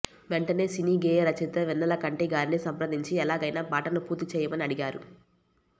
వెంటనే సినీగేయ రచయిత వెన్నెలకంటి గారిని సంప్రదించి ఎలాగైనా పాటను పూర్తి చేయమని అడిగారు